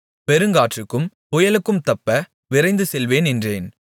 பெருங்காற்றுக்கும் புயலுக்கும் தப்ப விரைந்து செல்வேன் என்றேன்